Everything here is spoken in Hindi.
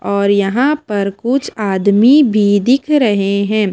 और यहां पर कुछ आदमी भी दिख रहे हैं।